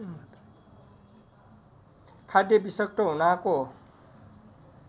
खाद्य विषाक्त हुनाको